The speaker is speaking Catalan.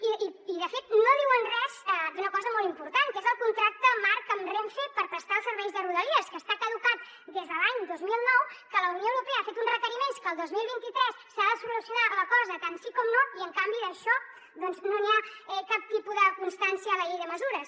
i de fet no diuen res d’una cosa molt important que és el contracte marc amb renfe per prestar els serveis de rodalies que està caducat des de l’any dos mil nou que la unió europea ha fet uns requeriments que el dos mil vint tres s’ha de solucionar la cosa tant sí com no i en canvi d’això no n’hi ha cap tipus de constància a la llei de mesures